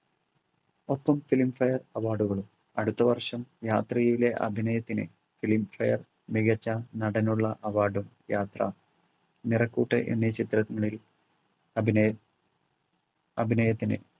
ഒപ്പം filmfare award കളും അടുത്ത വർഷം യാത്രയിലെ അഭിനയത്തിനു filmfare മികച്ച നടനുള്ള award ഉം യാത്ര നിറക്കൂട്ട് എന്നീ ചിത്രങ്ങളിൽ അഭിനയ അഭിനയത്തിന്